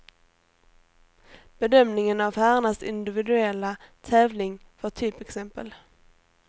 Bedömningen av herrarnas individuella tävling var typexempel.